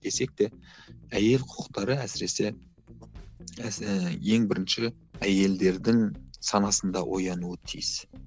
десек те әйел құқықтары әсіресе ең бірінші әйелдердің санасында оянуы тиіс